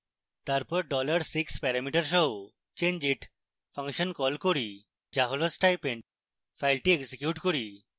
তারপর dollar 6 parameter সহ changeit function call করি যা হল stipend ফাইলটি এক্সিকিউট করি